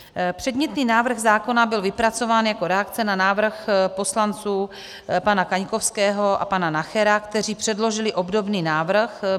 Předmětný návrh zákona byla vypracován jako reakce na návrh poslanců pana Kaňkovského a pana Nachera, kteří předložili obdobný návrh.